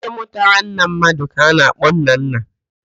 Nwoke mụtara nna mmadụ ka a na-akpọ nnanna